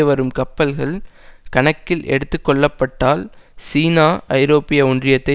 வரும் கப்பல்கள் கணக்கில் எடுத்து கொள்ளப்பட்டால் சீனா ஐரோப்பிய ஒன்றியத்தை